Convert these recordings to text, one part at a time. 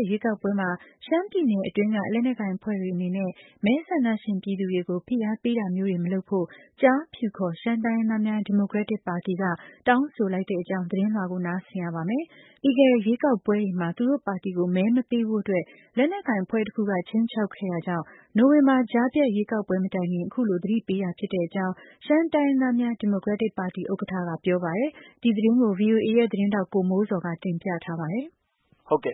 တ်ရွေးကောက်ပွဲမှာ ရှမ်းပြည်နယ်အတွင်းက လက်နက်ကိုင်အဖွဲ့တွေ အနေနဲ့ မဲဆန္ဒရှင်ပြည်သူတွေကို ဖိအားပေးတာမျိုးတွေ မလုပ်ဖို့ ကျားဖြူခေါ် ရှမ်းတိုင်းရင်းသားများ ဒီမိုကရက်တစ်ပါတီက တောင်းဆိုလိုက်ပါတယ်။ ပြီးခဲ့တဲ့ ရွေးကောက်ပွဲတွေမှာ သူတို့ပါတီကို မဲမပေးဖို့အတွက် လက်နက်ကိုင်အဖွဲ့တစ်ခုက ခြိမ်းခြောက်ခဲ့တာကြောင့် နိုဝင်ဘာ ကြားဖြတ်ရွေးကောက်ပွဲ မတိုင်ခင် အခုလို သတိပေးတာဖြစ်တဲ့အကြောင်း ပါတီဥက္ကဌက ပြောပါတယ်။ ဒီသတင်းကိုတော့ ဗွီအိုအေရဲ့သတင်းထောက် ကိုမိုးဇော်က တင်ပြထားပါတယ်။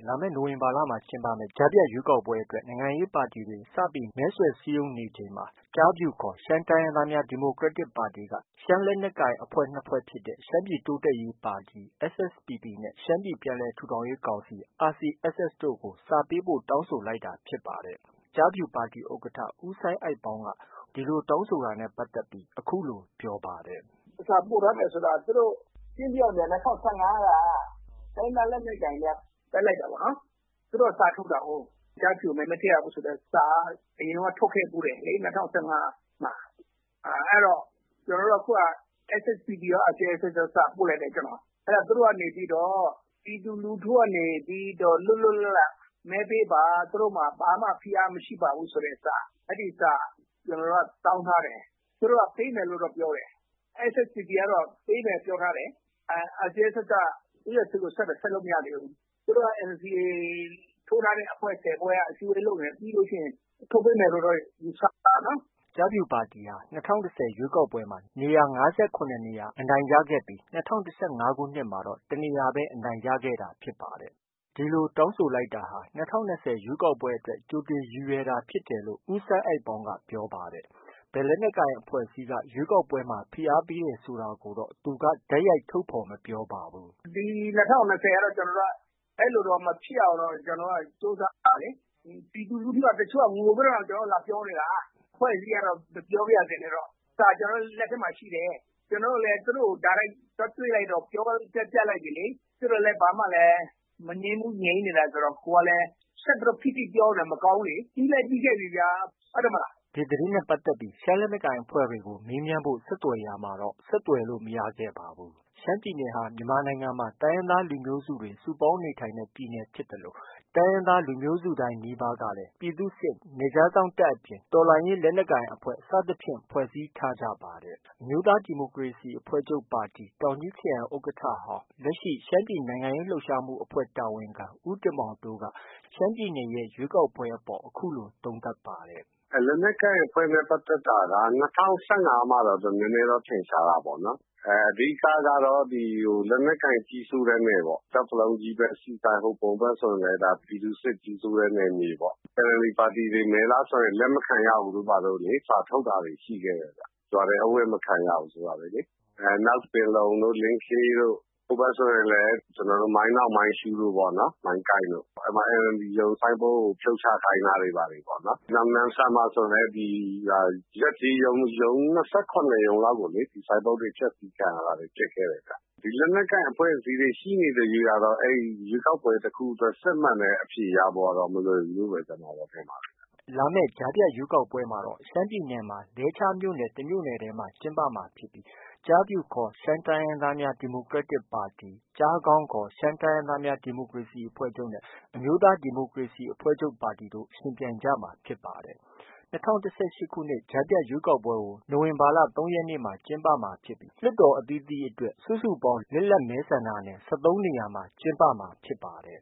လာမယ့် နိုဝင်ဘာမှာ ကျင်းပမယ့် ကြားဖြတ်ရွေးကောက်ပွဲအတွက် နိုင်ငံရေးပါတီတွေ စပြီး မဲဆွယ်စည်းရုံးနေချိန်မှာ ကျားဖြူခေါ် ရှမ်းတိုင်းရင်းသားများ ဒီမိုကရက်တစ်ပါတီက ရှမ်းလက်နက်ကိုင်အဖွဲ့ ၂ဖွဲ့ ဖြစ်တဲ့ ရှမ်းပြည်တိုးတက်ရေးပါတီ SSPP နဲ့ ရှမ်းပြည် ပြန်လည်ထူထောင်ရေးကောင်စီ RCSS တို့ကို စာပေးပို့ တောင်းဆိုလိုက်တာဖြစ်ပါတယ်။ ကျားဖြူပါတီဥက္ကဌ ဦးစိုင်းအိုက်ပေါင်းက ဒီလိုတောင်းဆိုတာနဲ့ ပတ်သက်ပြီး အခုလိုပြောပါတယ်။ “ စာပို့ထားတယ်ဆိုတာ သူတို့ ရှင်းရှင်းပြောရင်ဗျာ ၂၀၁၅က တိုင်းရင်းသား လက်နက်ကိုင်တွေက ဘက်လိုက် တာပေါ့နော်။ သူတို့က စာထုတ်တာကိုး။ ကျားဖြူကို မဲမထည့်ရဘူးဆိုတဲ့စာ။ အရင်တုံးက ထုတ်ခဲ့ဖူးတယ်လေ ၂၀၁၅က။ အဲတော့ အခုက ကျနော်တို့က SSPPကော ၊ RCSS ကော စာပို့လိုက်တယ်ကျနော်။ အဲဒါ သူတို့ကနေ ပြီးတော့ ပြည်သူလူထုကနေပြီးတော့ လွတ်လွတ်လပ်လပ် မဲပေးပါ သူတို့မှာ ဘာမှ ဖိအားမရှိပါဘူးဆိုတဲ့စာ၊ အဲဒီစာ ကျနော်တို့က တောင်းထားတယ်။ သူတို့က ပေးမယ် လို့တော့ ပြောတယ်။ SSPP ကတော့ ပေးမယ်ပြောထားတယ်။ RCSS က ဦးယွတ်ဆစ်ကို ဆက်တာ။ ဆက်လို့ မရသေးဘူး။ သူတို့က NCA ထိုးထားတဲ့အဖွဲ့ ၁၀ဖွဲ့ အစည်းအဝေးလုပ်နေတာ။ ပြီးလို့ရှိရင် ထုတ်ပေးမယ်လို့တော့ ယူဆတာပေါ့။ ” ကျားဖြူပါတီဟာ ၂၀၁၀ ရွေးကောက်ပွဲမှာ နေရာ ၅၇ နေရာ အနိုင်ရခဲ့ပြီး ၂၀၁၅ ခုနှစ်မှာတော့ တစ်နေရာပဲ အနိုင်ရခဲ့ပါတယ်။ ဒီလိုတောင်းဆိုတာဟာ ၂၀၂၀ ရွေးကောက်ပွဲအတွက် ကြိုတင်ရည်ရွယ် တာဖြစ်တယ်လို့ ဦးစိုင်းအိုက်ပေါင်းက ပြောပါတယ်။ ဘယ် လက်နက်ကိုင် အဖွဲ့ အစည်းက ရွေးကောက်ပွဲမှာ ဖိအားပေးခဲ့တယ်ဆိုတာကိုတော့ သူက တိုက်ရိုက် ထုတ်ဖော် မပြောပါဘူး။ “ ဒီ ၂၀၂၀ကတော့ ကျနော်တို့က ဒီလို မဖြစ်အောင်တော့ ကြိုးစားရမှာလေ။ ပြည်သူ လူထုက တချို့က ငိုပြီးတော့တောင် ကျနော်တို့ကို လာပြောနေတာ။ အဖွဲ့အစည်းက မပြောပါရစေနဲ့တော့၊ စာကျနော်တို့ လက်ထဲမှာ ရှိတယ်။ ကျနော်တို့လည်း သူတို့ကို တိုက်ရိုက် သွားတွေ့လိုက်တော့ ပြောပြလိုက်တယ်လေ။ သူတို့လည်း ဘာမှလည်း မငြင်းဘူးငြိမ်နေတာဆိုတော့ ကိုယ်ကလည်း ဆက်ပြီးတော့ ဖိပြီးတော့ ပြောလို့လည်း မကောင်းဘူးလေ။ ပြီးလည်း ပြီးခဲ့ပြီဗျာ။ ဟုတ်တယ်မဟုတ်လား။ ” ဒီသတင်းနဲ့ပတ်သက်ပြီး တိုင်းရင်းသားလက်နက်ကိုင်အဖွဲ့တွေကို မေးမြန်းဖို့ ဆက်သွယ်ရာမှာတော့ ဆက်သွယ်လို့ မရခဲ့ပါဘူး။ ရှမ်းပြည်နယ်ဟာ မြန်မာနိုင်ငံမှာ တိုင်းရင်းသား လူမျိုးစုတွေ စုပေါင်းနေထိုင်တဲ့ ပြည်နယ် ဖြစ်သလို တိုင်းရင်းသား လူမျိုးစုတိုင်းနီးပါးကလည်း ပြည်သူ့စစ်၊ နယ်ခြားစောင့်တပ်အပြင် တော်လှန်ရေး လက်နက်ကိုင်အဖွဲ့ စသဖြင့် ဖွဲ့စည်းထားကြပါတယ်။ အမျိုးသားဒီမိုကရေစီအဖွဲ့ချုပ်ပါတီ တောင်ကြီးခရိုင်ဥက္ကဌဟောင်း၊ လက်ရှိ ရှမ်းပြည်နိုင်ငံရေး လှုပ်ရှားမှုအဖွဲ့ တာဝန်ခံ ဦးတင်မောင်တိုးက ရှမ်းပြည်နယ်ရဲ့ ရွေးကောက်ပွဲအပေါ် အခုလို သုံးသပ်ပါတယ်။ “ လက်နက်ကိုင်အဖွဲ့နဲ့ ပတ်သက်တာက ၂၀၁၅မှာ နည်းနည်းထင်ရှားတာပေါ့။ အဓိက ကတော့ လက်နက် ကိုင်အဖွဲ့ ကြီးစိုးတဲ့တယ်ပေါ့။ ကျောက်တစ်လုံးကြီးဘက်၊ ဆီဆိုင်၊ ဟိုပုံးဘက်ဆိုရင်လည်း ပြည်သူ့စစ်ကြီးစိုးတဲ့ နယ်မြေပေါ့။ NLD ပါတီတွေ မဲလာဆွယ်ရင် လက်မခံရဘူးဆို စာထုတ်တာတွေ ရှိခဲ့တယ်။ ရွာထဲ အဝင်မခံရဘူး ဆိုတာတွေလေ။ နောက် ပင်လုံတို့၊ လင်းခေးတို့၊ ဟိုဘက်ဆိုရင်လည်း ကျနော်တို့ မိုင်းနောင်၊ မိုင်းရှုးတို့ပေါ့။ မိုင်းကိုင်တို့ အဲဒီမှာ NLD ရုံးဆိုင်းဘုတ်ကို ဖြုတ်ချခိုင်းတာတို့ပေါ့။ နောက် နမ့်ဆန်မှာ ဆိုရင်လည်း ရပ်ကျေးရုံး ၂၇ရုံးလောက်ကို ဆိုင်းဘုတ်တွေ ဖျက်ဆီးခံရတာတွေ ဖြစ်ခဲ့တယ်။ ဒီလက်နက်ကိုင်အဖွဲ့တွေ ရှိနေသ၍ကတော့ ရွေးကောက်ပွဲတစ်ခုအတွက် စစ်မှန်တဲ့ အဖြေရဖို့ကတော့ မလွယ်ဘူးလို့ ထင်ပါတယ်ဗျ။” လာမယ့် ကြားဖြတ်ရွေးကောက်ပွဲမှာတော့ ရှမ်းပြည်နယ်မှာ လဲချားမြို့နယ် တမြို့နယ် ထဲမှာပဲ ကျင်းပမှာဖြစ်ပြီး ကျားဖြူခေါ် ရှမ်းတိုင်းရင်းသားများ ဒီမိုကရက်တစ်ပါတီ၊ ကျားခေါင်းခေါ် ရှမ်းတိုင်းရင်းသားများ ဒီမိုကရေစီအဖွဲ့ချုပ်နဲ့ အမျိုးသားဒီမိုကရေစီ အဖွဲ့ချုပ်တို့ ယှဉ်ပြိုင်ကြမှာ ဖြစ်ပါတယ်။ ၂၀၁၈ ကြားဖြတ်ရွေးကောက်ပွဲကို နိုဝင်ဘာလ ၃ရက်နေ့မှာ ကျင်းပမှာဖြစ်ပြီး မြန်မာနိုင်ငံ တနိုင်ငံလုံးအတွက်တော့ လွှတ်တော် အသီးသီးအတွက် စုစုပေါင်း လစ်လပ်မဲဆန္ဒနယ် ၁၃ နေရာမှာ ကျင်းပမှာဖြစ်ပါတယ်